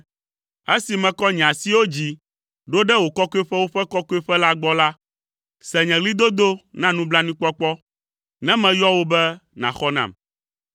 Esi mekɔ nye asiwo dzi ɖo ɖe wò Kɔkɔeƒewo ƒe Kɔkɔƒe la gbɔ la, se nye ɣlidodo na nublanuikpɔkpɔ, ne meyɔ wò be nàxɔ nam.